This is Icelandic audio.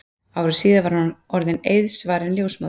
Ári síðar var hún orðin eiðsvarin ljósmóðir.